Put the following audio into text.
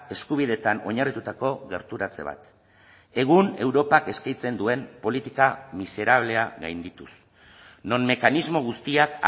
eskubideetan oinarritutako gerturatze bat egun europak eskaintzen duen politika miserablea gaindituz non mekanismo guztiak